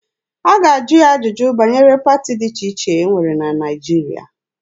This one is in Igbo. A ga-ajụ ya ajụjụ banyere pati dị iche iche e nwere na Naịjirịa.